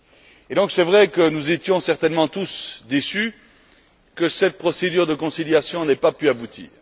Il est vrai que nous avons certainement tous été déçus que cette procédure de conciliation n'ait pas pu aboutir.